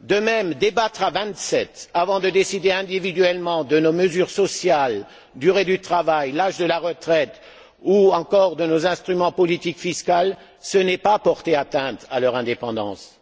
De même, débattre à vingt sept avant de décider individuellement de nos mesures sociales durée du travail, âge de la retraite ou encore de nos instruments de politique fiscale, ce n'est pas porter atteinte à leur indépendance